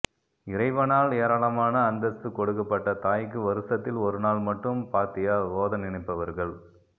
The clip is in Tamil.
இறைவனால் ஏராளமான அந்தஸ்து கொடுக்கப்பட்ட தாய்க்கு வருசத்தில் ஒரு நாள் மட்டும் பாத்தியா ஓத நினைப்பவர்கள்